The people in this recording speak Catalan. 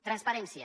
transparència